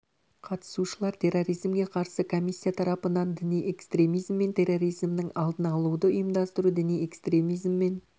қатысушылар терроризмге қарсы комиссия тарапынан діни экстремизм мен терроризмнің алдын алуды ұйымдастыру діни экстремизм мен